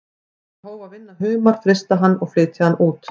Hann hóf að vinna humar, frysta hann og flytja hann út.